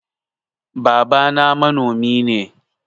Babana manomi ne.